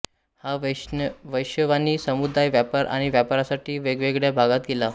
हा वैश्यवाणी समुदाय व्यापार आणि व्यवसायासाठी वेगवेगळ्या भागात गेला